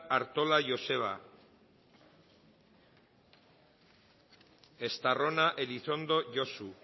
artola joseba estarrona elizondo josu